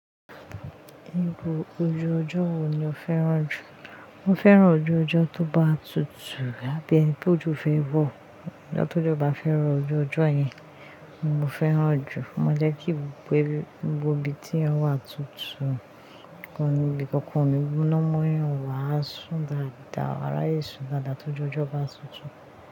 Níbo ojú ọjọ́ wo ni o fẹ́ràn jù? Mo fẹ́ràn ojú ọjọ́ tó bá tutù lábẹ́ ẹni pé ojú fẹ́ wọ̀. Ọjọ́ tó jọ bá fẹ́ ro ojú ọjọ́ yẹn ni mo fẹ́ràn jù. Mo jẹ́ kí gbogbo ibi tí yan wà tutù. Ìkanilẹ́ kankan mi múná mọ́ yàn wà á sún dáadáa, wàá ráyè sún dáadáa tó jẹ́ ọjọ́ bá tutù.